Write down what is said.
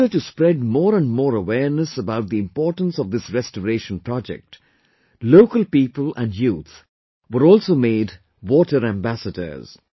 In order to spread more and more awareness about the importance of this Restoration Project, local people and youth were also made Water Ambassadors